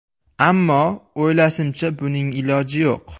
Ammo, o‘ylashimcha buning iloji yo‘q.